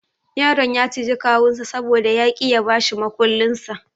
Yaron ya ciji kawunsa saboda ya ki ya bashi mukullinsa.